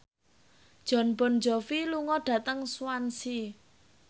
Jon Bon Jovi lunga dhateng Swansea